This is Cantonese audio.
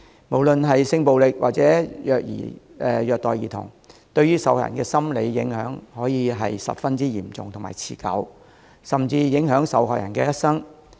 無論是性暴力，或者虐待兒童，受害人所受的心理影響可以十分嚴重和持久，甚至影響一生。